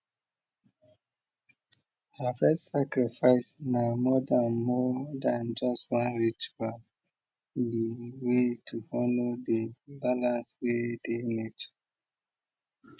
harvest sacrifice na more than more than just one rituale be way to honour di balance wey dey nature